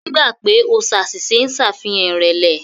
Gbígbà pè o ṣàṣìṣe ń ṣàfihàn ìrẹ̀lẹ̀.